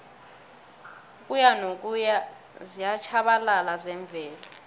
ukuyanokuya ziyatjhabalala zemvelo